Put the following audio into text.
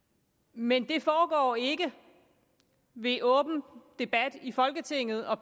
men det foregår ikke ved åben debat i folketinget og